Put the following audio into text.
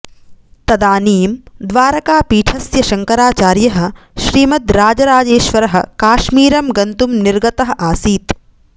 तदानीं द्वारकापीठस्य शङ्कराचार्यः श्रीमद् राजराजेश्वरः काश्मीरं गन्तुं निर्गतः आसीत्